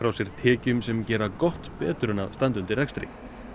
sér tekjum sem gera gott betur en að standa undir rekstri